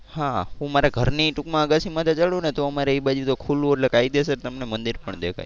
હા હું મારા ઘરની ટુંકમાં અગાસી માથે ચઢું ને તો અમારે એ બાજુ તો ખુલ્લુ એટલે કાયદેસર તમને મંદિર પણ દેખાય.